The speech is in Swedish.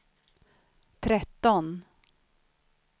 tretton